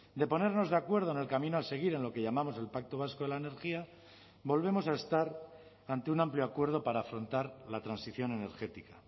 de ponernos de acuerdo en el camino a seguir en lo que llamamos el pacto vasco de la energía volvemos a estar ante un amplio acuerdo para afrontar la transición energética